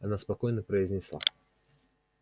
она спокойно произнесла